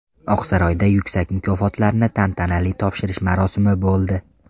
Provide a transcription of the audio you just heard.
Oqsaroyda yuksak mukofotlarni tantanali topshirish marosimi bo‘ldi.